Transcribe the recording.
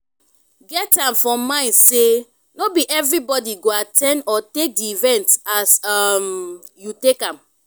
get am for mind sey no be everybody go at ten d or take di event as um you take am